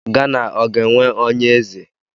Gana ọ ga-enwe onye eze?